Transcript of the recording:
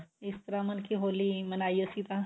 ਇਸ ਤਰ੍ਹਾ ਮਲਕੀ ਹੋਲੀ ਮਨਾਈ ਅਸੀਂ ਤਾਂ